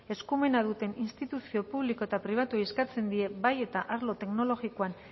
eskumena duten instituzio publiko eta pribatuei eskatzen die bai eta arlo teknologikoan